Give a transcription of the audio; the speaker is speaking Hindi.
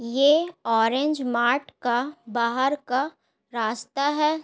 ये ऑरेंज मार्ट का बाहर का रास्ता है।